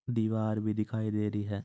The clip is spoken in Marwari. दीवार भी दिखाई दे रही है।